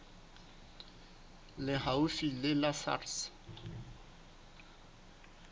le haufi le la sars